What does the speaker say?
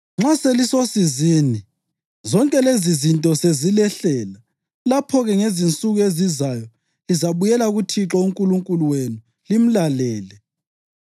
Nxa selisosizini zonke lezizinto sezilehlela, lapho-ke ngezinsuku ezizayo lizabuyela kuThixo uNkulunkulu wenu limlalele.